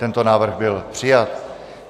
Tento návrh byl přijat.